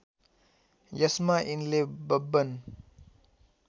यसमा यिनले बब्बन